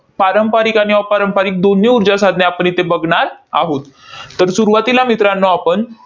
पारंपारिक आणि अपारंपारिक दोन्ही ऊर्जासाधने आपण इथे बघणार आहोत. तर सुरुवातीला मित्रांनो आपण